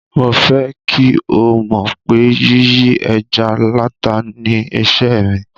Mo fẹ́ kí o mọ̀ pé yíyí ẹja láta ni iṣẹ́ mi.